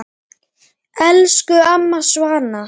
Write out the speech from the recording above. Elsku amma Svava.